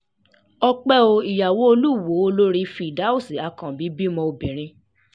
ọ̀pẹ̀ ò ìyàwó olùwòo olórí firdaus akànbí bímọ obìnrin